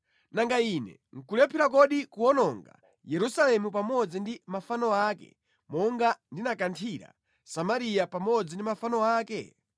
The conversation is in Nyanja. nanga Ine nʼkulephera kodi kuwononga Yerusalemu pamodzi ndi mafano ake monga ndinakanthira Samariya pamodzi ndi mafano ake?’ ”